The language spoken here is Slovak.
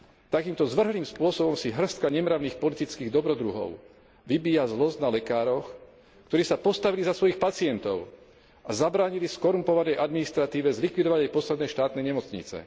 Takýmto zvrhlým spôsobom si hŕstka nemravných politických dobrodruhov vybíja zlosť na lekároch, ktorí sa postavili za svojich pacientov a zabránili skorumpovanej administratíve zlikvidovať jej posledné štátne nemocnice.